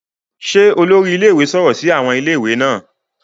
Ṣe olori ilé-ìwé sọrọ si awọn Ilé-ìwé naa